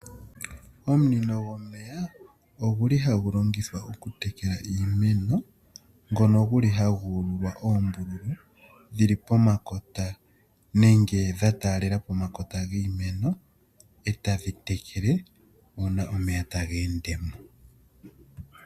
Omunino gomeya oguli hagu longithwa oku tekela iimeno, ngono guli hagu ululwa oombululu dhili pomakota nenge dha taalela pomakota giimeno e ta dhi tekele uuna omeya taga ende mo.